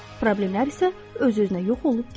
Problemlər isə öz-özünə yox olub gedir.